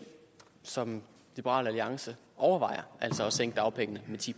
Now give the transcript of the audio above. som liberal alliance overvejer altså at sænke dagpengene med ti